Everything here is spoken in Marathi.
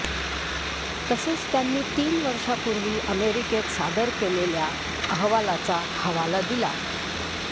तसेच त्यांनी तीन वर्षापूर्वी अमेरिकेत सादर केलेल्या अहवालाचा हवाला दिला